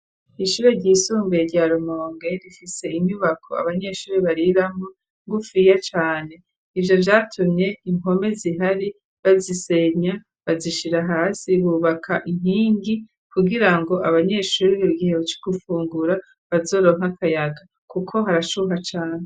Ishure ryisumbuye rya Rumonge rifise inyubako abanyeshuri bariramo rigufiya Cane. Ivyo vyatumye inkome zihari bazisenya bazishira hasi bubaka inkingi kugira ngo abanyeshuri mugihe co gufungura bazoronka akayaga kuko harashuha cane.